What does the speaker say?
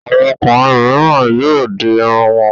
Àwọn ọkùnrin mìíràn yóò di irun wọn.